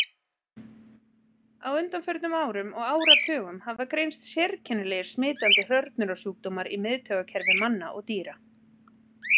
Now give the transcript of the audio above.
Á undanförnum árum og áratugum hafa greinst sérkennilegir smitandi hrörnunarsjúkdómar í miðtaugakerfi manna og dýra.